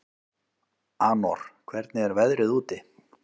Anor, hvernig er veðrið úti?